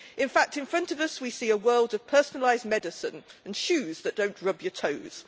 In fact, in front of us, we see a world of personalised medicine and shoes that don't rub your toes.